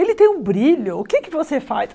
Ele tem um brilho, o que é que você faz?